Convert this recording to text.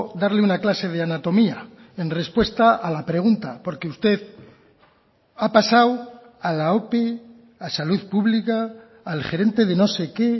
darle una clase de anatomía en respuesta a la pregunta porque usted ha pasado a la ope a salud pública al gerente de no sé qué